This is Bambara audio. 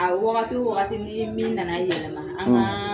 A waagatu waagati ni min nana yɛlɛma, an; ; kaa